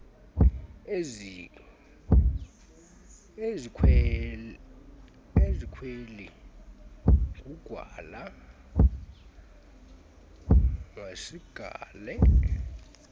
ezikweli nqugwala masiqale